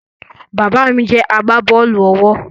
Bàbá mí jẹ agbábọ́ọ̀lù-ọwọ́